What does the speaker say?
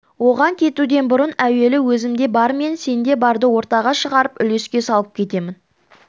оған кетуден бұрын әуелі өзімде бар мен сенде барды ортаға шығарып үлеске салып кетемін